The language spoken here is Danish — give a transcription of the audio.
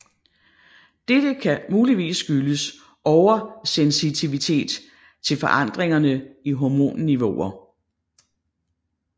Dette kan muligvis skyldes oversensitivitet til forandringerne i hormonniveauer